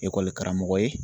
karamɔgɔ ye.